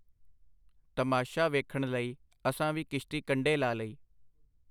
ਤਮਾਸ਼ਾ ਵੇਖਣ ਲਈ ਅਸਾਂ ਵੀ ਕਿਸ਼ਤੀ ਕੰਢੇ ਲਾ ਲਈ.